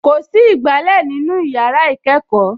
Kò sí ìgbálẹ̀ nínú yàrá ìkẹ́kọ̀ọ́